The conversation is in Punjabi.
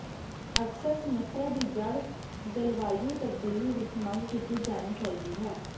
ਅਕਸਰ ਸਮੱਸਿਆ ਦੀ ਜੜ੍ਹ ਜਲਵਾਯੂ ਤਬਦੀਲੀ ਵਿਚ ਮੰਗ ਕੀਤੀ ਜਾਣੀ ਚਾਹੀਦੀ ਹੈ